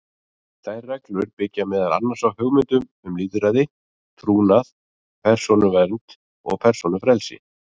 Þær reglur byggja meðal annars á hugmyndum um lýðræði, trúnað, persónuvernd og persónufrelsi.